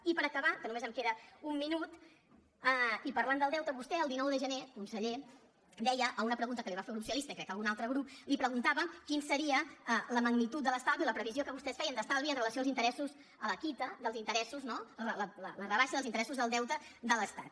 i per acabar que només em queda un minut i parlant del deute vostè el dinou de gener conseller deia a una pregunta que li va fer el grup socialista i crec que algun altre grup li ho preguntàvem quina seria la magnitud de l’estalvi o la previsió que vostès feien d’estalvi amb relació als interessos a la quitança dels interessos no la rebaixa dels interessos del deute de l’estat